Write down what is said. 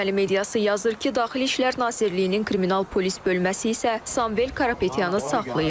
Erməni mediası yazır ki, Daxili İşlər Nazirliyinin kriminal polis bölməsi isə Samvel Karapetyanı saxlayıb.